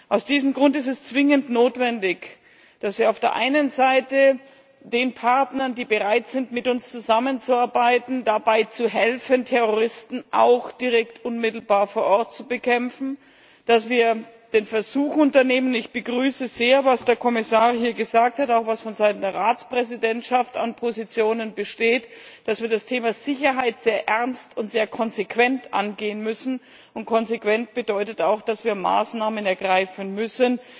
Aus diesem Grund ist es zwingend notwendig, dass wir auf der einen Seite den Partnern, die bereit sind, mit uns zusammenzuarbeiten, dabei helfen, Terroristen auch direkt unmittelbar vor Ort zu bekämpfen, dass wir den Versuch unternehmen ich begrüße sehr, was der Kommissar hier gesagt hat, auch was vonseiten der Ratspräsidentschaft an Positionen besteht dass wir das Thema Sicherheit sehr ernst und sehr konsequent angehen müssen. Konsequent bedeutet auch, dass wir Maßnahmen ergreifen müssen,